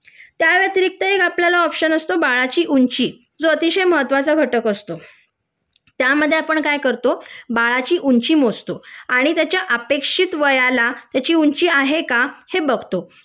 त्या व्यतिरिक्त अजून एक ऑप्शन असतो बाळाची ऊंची जो अतिशय महत्वाचा घटक असतो त्यामध्ये आपण काय करतो बाळाची ऊंची मोजतो आणि त्याच्या अपेक्षित वयाला त्याची ऊंची आहे का हे बघतो